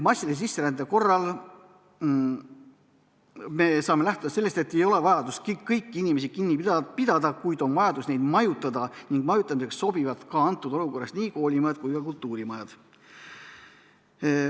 Massilise sisserände korral me saame lähtuda sellest, et ei ole vajadust kõiki inimesi kinni pidada, kuid on vajadus neid majutada ning majutamiseks sobivad sellises olukorras ka koolimajad ja kultuurimajad.